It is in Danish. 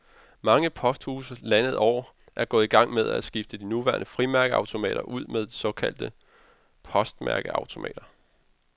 Mange posthuse landet over er gået i gang med at skifte de nuværende frimærkeautomater ud med såkaldte postmærkeautomater.